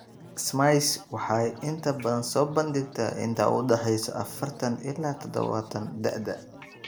SMECE waxay inta badan soo bandhigtaa inta u dhaxaysa afartan ilaa tadhawatan da'da.